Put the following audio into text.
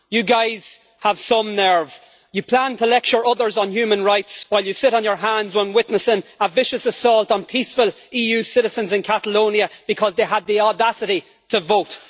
You guys have some nerve! You plan to lecture others on human rights while you sit on your hands while witnessing a vicious assault on peaceful EU citizens in Catalonia because they had the audacity to vote.